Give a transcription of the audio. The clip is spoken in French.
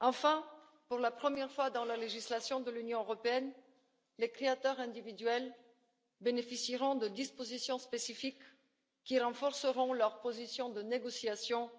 Enfin, pour la première fois dans la législation de l'Union européenne, les créateurs individuels bénéficieront de dispositions spécifiques qui renforceront leur position de négociation